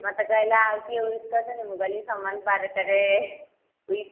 ମୋତେ କହିଲା ଆଉ କିଏ wish କରିଛନ୍ତି ମୁଁ କହିଲି ସମାନ ବାର ଟା ରେ wish